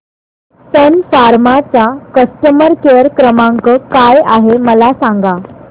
सन pharma चा customer care क्रमांक काय आहे मला सांगा